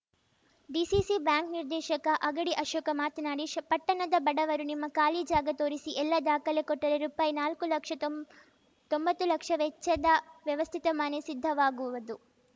DCC bank ನಿರ್ದೇಶಕ ಅಗಡಿ ಅಶೋಕ ಮಾತನಾಡಿ ಪಟ್ಟಣದ ಬಡವರು ನಿಮ್ಮ ಖಾಲಿ ಜಾಗಾ ತೋರಿಸಿ ಎಲ್ಲ ದಾಖಲೆ ಕೊಟ್ಟರೆ ರುಪಾಯಿ ನಾಲ್ಕು ಲಕ್ಷದ ತೊಂ ತೊಂಬತ್ತು ಲಕ್ಷ ವೆಚ್ಚದ ವ್ಯವಸ್ಥಿತ ಮನೆ ಸಿದ್ಧವಾಗುವದು